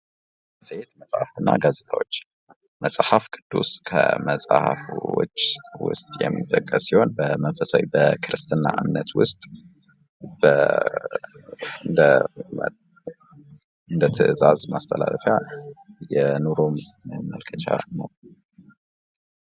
ሴት መጻፍትና ጋዜጣዎች መጽሐፍ ቅዱስ ከ መጽሐፎች ውስጥ የሚጠቀስ ሲሆን በመንፈሳዊ በክርስትና እምነት ውስጥ እንዳትዛዝ ማስተላለፊያ የኑሮን መመልከቻ ነው